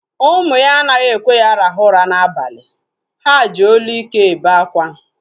Ụmụ ya anaghị ekwe ya rahụ ụra na abalị. Ha ji olu ike ebe akwa